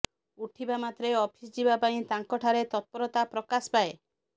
ଉଠିବା ମାତ୍ରେ ଅଫିସ୍ ଯିବା ପାଇଁ ତାଙ୍କଠାରେ ତତ୍ପରତା ପ୍ରକାଶ ପାଏ